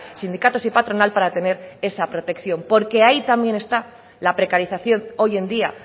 sindicatos y patronal para tener esa protección porque ahí también está la precarización hoy en día